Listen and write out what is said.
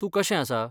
तूं कशें आसा?